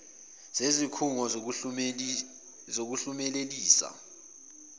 zezik hungo zokuhlumelelisa